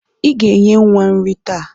Ị ga-enye nwa nrị taa.